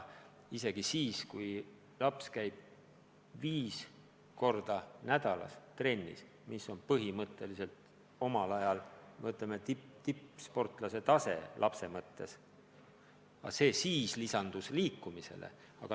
Isegi kui laps käib viis korda nädalas trennis, mis on tema eas põhimõtteliselt nagu tippsportlase tase, on vaja ka muud liikumist.